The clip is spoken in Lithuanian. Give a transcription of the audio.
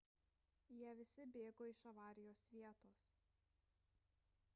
jie visi bėgo iš avarijos vietos